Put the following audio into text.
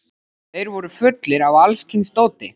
Þeir voru fullir af alls kyns dóti.